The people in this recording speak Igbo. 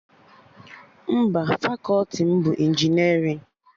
Mba, fakọti m bụ injinerịn